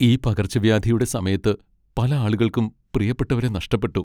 ഈ പകർച്ചവ്യാധിയുടെ സമയത്ത് പല ആളുകൾക്കും പ്രിയപ്പെട്ടവരെ നഷ്ടപ്പെട്ടു.